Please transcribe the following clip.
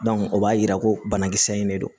o b'a yira ko banakisɛ in de don